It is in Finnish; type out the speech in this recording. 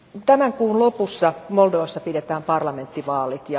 Tämän kuun lopussa Moldovassa pidetään parlamenttivaalit.